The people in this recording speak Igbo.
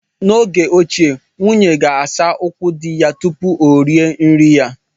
N'oge ochie, nwunye ga-asa ụkwụ di ya tupu o rie nri ya.